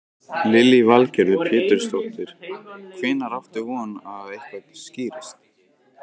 Lillý Valgerður Pétursdóttir: Hvenær áttu von á að eitthvað skýrist?